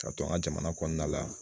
Ka to an ka jamana kɔnɔna la